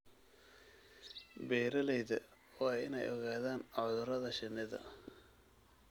Beeralayda waa inay ogaadaan cudurada shinnida.